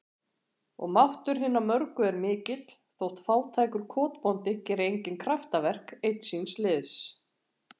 Og máttur hinna mörgu er mikill, þótt fátækur kotbóndi geri engin kraftaverk, einn síns liðs.